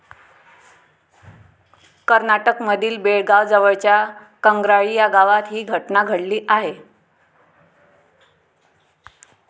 कर्नाटकमधील बेळगाव जवळच्या कंग्राळी या गावात ही घटना घडली आहे.